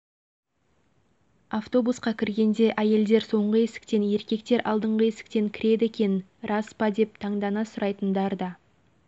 шындығын айтсақ тегеран қаласына алғаш кіргенде біздің де назарымызға оқшау түскен көрініс осы болды